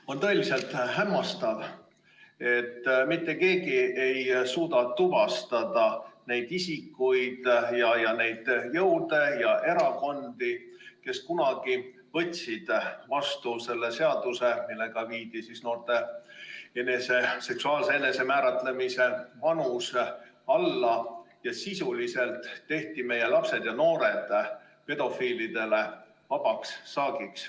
On tõeliselt hämmastav, et mitte keegi ei suuda tuvastada neid isikuid ja neid jõude ja erakondi, kes kunagi võtsid vastu seaduse, millega viidi noorte seksuaalse enesemääramise vanus alla ja sisuliselt tehti meie lapsed ja noored pedofiilidele vabaks saagiks.